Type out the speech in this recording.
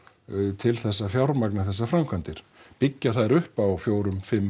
til þess að fjármagna þessar framkvæmdir byggja þær upp á fjórar fimm